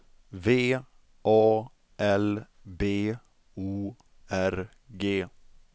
V A L B O R G